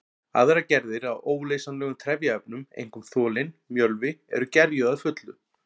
Aðrar gerðir af óleysanlegum trefjaefnum, einkum þolinn mjölvi, eru gerjuð að fullu.